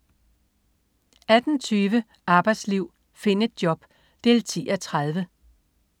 18.20 Arbejdsliv. Find et job! 10:30